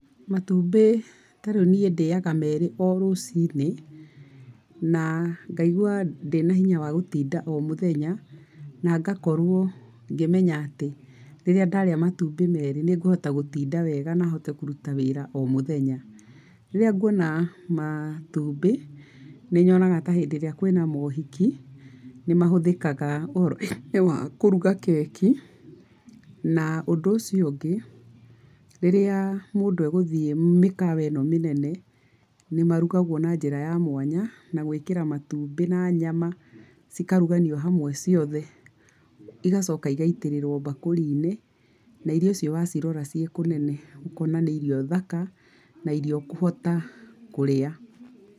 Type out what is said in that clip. Matumbĩ ta rĩu niĩ ndĩaga merĩ o rũci-inĩ, na ngaigua ndĩna hinya wa gũtinda o mũthenya na ngakorwo ngĩmenya atĩ, rĩrĩa ndarĩa matumbĩ merĩ nĩ ngũhota gũtinda wega, na hote kũruta wĩra o mũthenya. Rĩrĩa nguona matumbĩ, nĩ nyonaga ta hĩndĩ ĩrĩa kwĩna mohiki, nĩ mahũthĩkaga ũhoro-inĩ wa kũruga keki. Na ũndũ ũcio ungĩ, rĩrĩa mũndũ egũthiĩ mĩkawa ĩno mĩnene, nĩ marugagwo na njĩra ya mwanya, na gwĩkĩra matumbĩ na nyama cikaruganio hamwe ciothe. Igacoka igaitĩrĩrwo mbakũri-inĩ, na irio icio wa cirora ciĩ kũnene ũkona nĩ ĩrio thaka na irio ũkũhota kũrĩa.